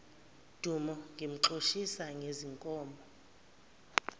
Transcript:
dumo ngimxoshisa ngezinkomo